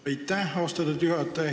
Aitäh, austatud juhataja!